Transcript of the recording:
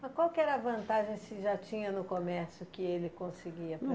Mas qual que era a vantagem se já tinha no comércio que ele conseguia